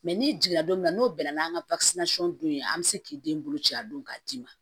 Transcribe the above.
n'i jiginna don min na n'o bɛnna n'an ka don yen an bi se k'i den bolo ci a don ka d'i ma